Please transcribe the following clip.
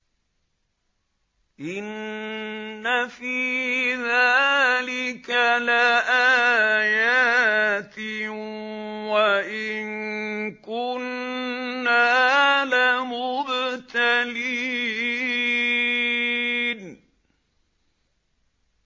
إِنَّ فِي ذَٰلِكَ لَآيَاتٍ وَإِن كُنَّا لَمُبْتَلِينَ